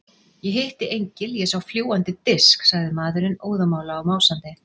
Ég hitti engil, ég sá fljúgandi disk, sagði maðurinn óðamála og másandi.